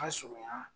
Ka sɔrɔ yan